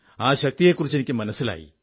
ആ ശക്തിയെക്കുറിച്ച് എനിക്കു മനസ്സിലായി